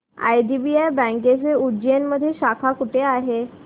IDBI बँकेची उज्जैन मध्ये शाखा कुठे आहे